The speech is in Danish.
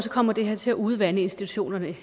kommer det her til at udvande institutionerne